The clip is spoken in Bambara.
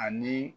Ani